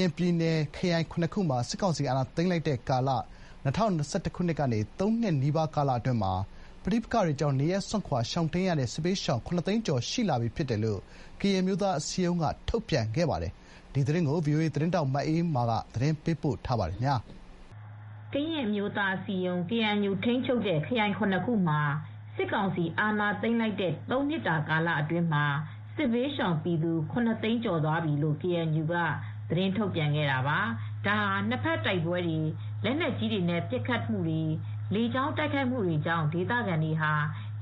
ရင်ပြည်နယ် ခရိုင် ၇ ခုမှာ စစ်ကောင်စီအာဏာသိမ်းလိုက်တဲ့ ကာလ ၂၀၂၁ခုနှစ်ကနေ ၃နှစ်နီးပါးကာလအတွင်းမှာ ပဋိပက္ခတွေကြောင့် နေရပ်စွန့်ခွာရှောင်တိမ်းနေထိုင်ရတဲ့ စစ်ဘေးရှောင် ခုနစ်သိန်းကျော် ရှိလာပြီဖြစ်တယ်လို့ ကရင်အမျိုးသားအစည်းအရုံး က ထုတ်ပြန်ခဲ့ပါတယ်။ ဒီသတင်းကို ဗွီအိုအေသတင်းထောက်မအေးအေးမာကသတင်းပေးပို့ထားပါတယ်။ ကရင်အမျိုးသားအစည်းအရုံး-ကေအဲန်ယူ ထိန်းချုပ်တဲ့ ခရိုင် ၇ ခုမှာ စစ်ကောင်စီအာဏာသိမ်းလိုက်တဲ့ ၃ နှစ်တာကာလအတွင်း စစ်ဘေးရှောင်ပြည်သူ ၇ သိန်း ကျော်သွားပြီလို့ ကေအန်ယူက ထုတ်ပြန်ခဲ့တာပါ။ ဒါဟာ နှစ်ဖက်တိုက်ပဲွတွေ လက်နက်ကြီးတွေနဲ့ ပစ်ခတ်မူတွေ လေကြောင်းတိုက်ခိုက်မှုတွေကြောင့် ဒေသခံတွေဟာ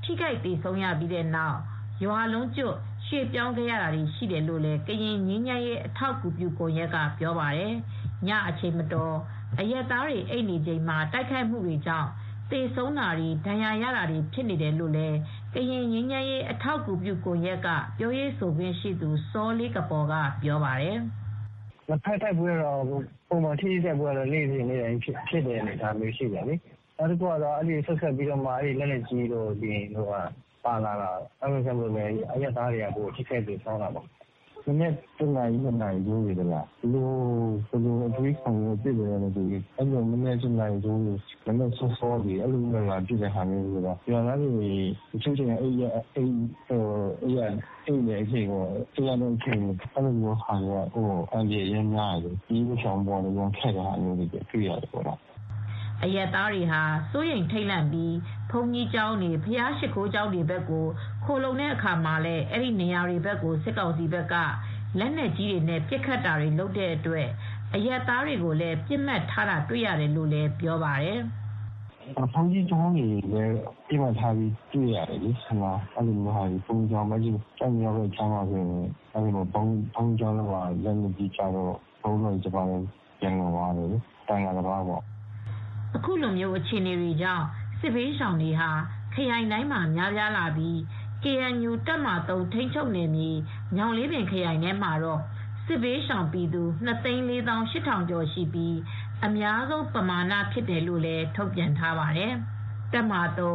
ထိခိုက်သေဆုံးရပြီးနောက် ရွာလုံးကျွတ် ရွေပြောင်းခဲ့ရတာတွေ ရှိခဲ့တယ်လို့ ကရင်ငြိမ်းချမ်းရေး အထောက်ကူပြုကွန်ယက်ကလည်းပြောပါတယ်။ ညအချိန်မတော် အရပ်သားတွေ အိပ်နေချိန်မှာ တိုက်ခိုက်မူတွေကြောင့် သေဆုံးတွေ ဒဏ်ရာရတာတွေဖြစ်နေတယ်လို့လည်း ကရင်ငြိမ်းချမ်းရေးအထောက်အကူပြုကွန်ယက်က ပြောရေးဆိုခွင့်ရှိသူ စောလေးကပေါ်က ပြောပါတယ်။ " နှစ်ဖက်တိုက်ပဲွ ပုံမှန်ထိတွေ့တိုက်ပဲွကတော့ နေ့စဉ်နေ့တိုင်း ဖြစ်လာတာပေါ့နော်။ နောက်တခုကတော့ လက်နက်ကြီးတို့ ဘာတို့ ပါတော့ ရွာသားတွေက ထိခိုက်သေဆုံးတာတွေ ပိုများလာတာပေါ့နော်။ မနက် ၁ နာရီ ၂ နာရီထိုးတဲ့အချိန်တွေ ဒီလို ဘယ်လိုအတွေးနဲ့ ပစ်ခတ်နေလဲ မသိဘူး ရွာသားတွေ အိပ်ပျော်နေတဲ့အချိန်တွေ မနက်စောစောအချိန်တွေမှာ လာပစ်တော့ အဲဒီလိုအချိန်မှာဆိုရင် ရွာသားတွေအတွက်က အန္တရယ်များတာပေါ့နော်။" အရပ်သားတွေဟာ စိုးရိမ်ထိပ်လန့်ပြီး ဘုန်းကြီးကျောင်းတွေ ဘုရားရှစ်ခိုးကျောင်းတွေဘက်ကို ခိုလှုံတဲ့အခါမှာလည်း အဲဒီနေရာတွေကို စစ်ကောင်စီက လက်နက်ကြီးတွေနဲ့ ပစ်ခတ်တာတွေလုပ်တဲ့အတွက် အရပ်သားတွေကိုလည်းပစ်မှတ်ထားတာ တွေ့ရတယ်လို့လည်းပြောပါတယ်။ " ပစ်မှတ်က ဘုန်းကြီးကျောင်းတွေကိုလည်းပစ်မှတ်ထားတယ် အဲဒီလိုဘုန်းကြီးကျောင်းတွေဆိုရင် ကျိုက်မရောဘက်မှာဆိုရင် လက်နက်ကြီးကျလို့ သံဃာတပါး ပျံလွန်တော်မူတာလည်း ရှိတယ်။ " အခုလိုအခြေအနေတွေကြောင့် စစ်ဘေးရှောင်တွေဟာ ခရိုင်တိုင်းမှာ များပြာလာပြီး KNU တပ်မဟာ(၃) ထိန်းချုပ်နယ်မြေ ညောင်လေးပင်ခရိုင်မှာတော့ စစ်ဘေး ရှောင်ပြည်သူ ၂ သိန်း ၄ သောင်း ၈ ထောင်ကျော်ရှိပြီး အများဆုံးပမာဏဖြစ်တယ်လို့လည်း ထုတ်ပြန်ထားပါတယ်။ တပ်မဟာ(၃)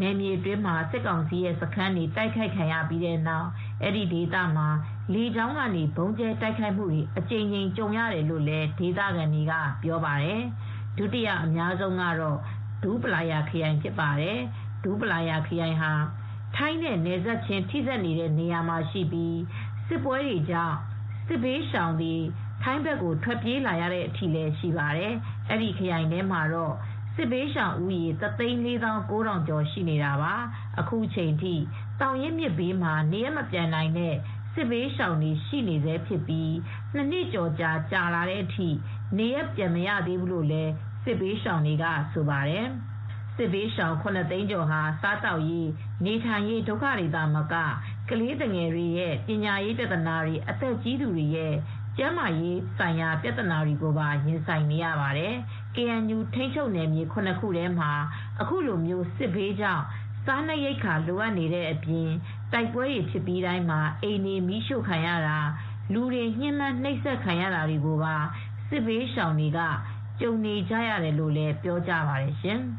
နယ်မြေအတွင်းမှာ စစ်ကောင်စီရဲ ့စခန်းတွေ တိုက်ခိုက်ခံရပြီးတဲ့နောက် အဲဒီဒေသမှာ လေကြောင်းကနေ ဗုံးကြဲတိုက်ခိုက်မူတွေ အကြိမ်ကြိမ်ကြုံရတယ်လို့လည်းဒေသခံတွေကပြောပါတယ်။ ဒုတိယ အများဆုံးကတော့ ဒူးပလာယာခရိုင် ဖြစ်ပါတယ်။ ဒူးပလာယာခရိုင်ဟာ ထိုင်းနဲ့ နယ်စပ်ချင်းထိစပ်နေတဲ့နေရာမှာရှိပြီး စစ်ပဲွတွေကြောင့် စစ်ဘေးရှောင်တွေ ထိုင်းဘက်ကို ထွက်ပြေးလာရတဲ့အထိ ရှိပါတယ်။ အဲဒီခရိုင်မှာတော့ စစ်ဘေးရှောင်ဦးရေ တသိန်း လေးသောင်း ကိုးထောင်ကျော် ရှိနေတာပါ။ အခုချိန်ထိ သောင်ရင်းမြစ်ဘေးမှာနေရပ် မပြန်နိုင်တဲ့ စစ်ဘေးရှောင်တွေ ရှိနေဆဲဖြစ်ပြီး ၂ နှစ်ကျော်ကြာလာတဲ့အထိ နေရပ် ပြန်မရသေးဘူးလို့လည်း စစ်ဘေးရှောင်တွေက ဆိုပါတယ်။ စစ်ဘေးရှောင် ၇ သိန်းကျော်ဟာ စားသောက်ရေး နေထိုင်ရေး ဒုက္ခတွေသာမက ကလေးသူငယ်တွေရဲ့ ပညာရေးပြသနာတွေ အသက်ကြီးတွေရဲ ့ကျန်းမာရေးဆိုင်ရာ ပြသနာတွေကိုပါ ရင်ဆိုင်နေရပါတယ်။ ကေအန်ယူ ထိန်းချုပ်နယ်မြေ ၇ ခုထဲမှာ အခုလို စစ်ဘေးကြောင့် စားနပ်ရိက္ခာလိုအပ်နေတဲ့အပြင် တိုက်ပဲွတွေဖြစ်ပြီးတိုင်း အိမ်တွေမီးရှို့ခံရတာ လူတွေ ညှင်းပမ်းနှိပ်စက် ခံရတာတွေကိုပါ စစ်ဘေးရှောင်တွေ ကြုံနေရတယ်လို့လည်း ပြောကြပါတယ်ရှင်။